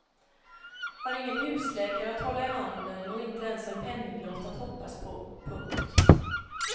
Har ingen husläkare att hålla i handen och inte ens en penninglott att hoppas på. punkt